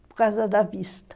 Por causa da vista.